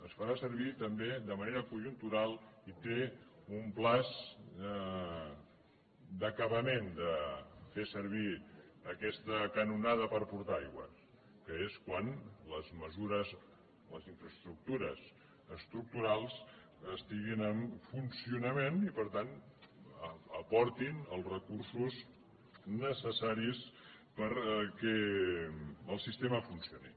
es farà servir també de manera conjuntural i té un termini d’acabament de fer servir aquesta canonada per portar aigua que és quan les mesures les infraestructures estructurals estiguin en funcionament i per tant aportin els recursos necessaris perquè el sistema funcioni